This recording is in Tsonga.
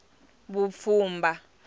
vupfhumba